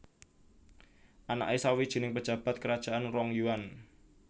Anake sawijining pejabat kerajaan Rong Yuan